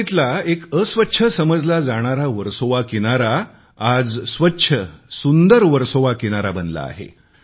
मुंबईतला सर्वात घाण समजला जाणाला वर्सोवा किनारा आज स्वच्छ सुंदर वर्सोवा किनारा बनला आहे